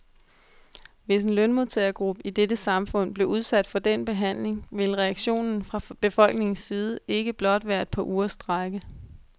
Hvis en lønmodtagergruppe i dette samfund blev udsat for den behandling, , ville reaktionen fra befolkningens side ikke blot være et par ugers strejke.